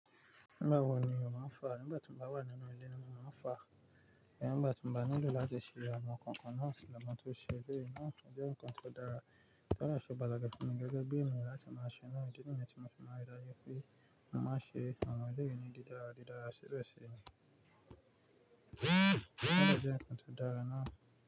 Nígbà wo ni mo máa ń fàá? Nígbà tí mo bá wà nínú ilé ni mo máa ń fàá. Ìgba ti ń bá nílò láti ṣe àwọn nǹkan kan náà tìlẹ̀ mó tó ṣe eré náà o je nǹkan tó dára. Tọ́ de ṣe pataki funmi gẹ́gẹ́ bí èniyan láti máa ṣe náà. Ìdí nìyí tí mo fi máa ń ri daju pé mo màá ṣe àwọn eré yìí ni dídára, dídára síbẹ̀ sì rìn. O jẹ́ ǹkan tó dára náà.